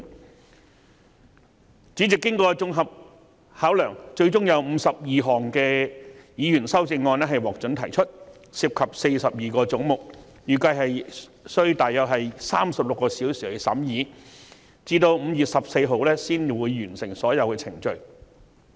經主席作綜合考量後，最終有52項議員修正案獲准提出，當中涉及42個總目，預計需要約36小時進行審議，直至5月14日才可完成所有程序。